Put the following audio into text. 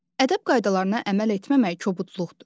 Ədəb qaydalarına əməl etməmək kobudluqdur.